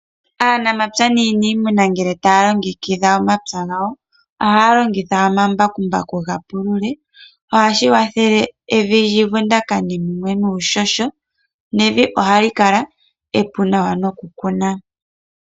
Aanamapya naaniimuna ngele taya longekidha omapya gawo ohaya longitha omambakumbaku ga pulula, ohashi kwathele evi lyuvundakane mumwe nuuhoho nevi ohayi kala epu nokukuna.